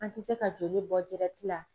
An tɛ se ka joli bɔ la.